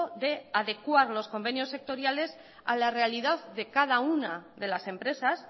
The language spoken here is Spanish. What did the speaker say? de adecuar los convenios sectoriales a la realidad de cada una de las empresas